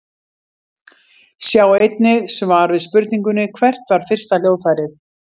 Sjá einnig svar við spurningunni Hvert var fyrsta hljóðfærið?